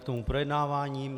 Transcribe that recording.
K tomu projednávání.